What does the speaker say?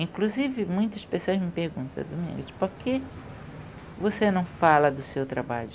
Inclusive, muitas pessoas me perguntam, Domingos, por que você não fala do seu trabalho?